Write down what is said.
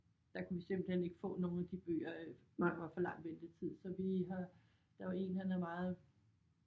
Der kunne vi simpelthen ikke få nogle af de bøger der var for lang ventetid så vi har der var én han er meget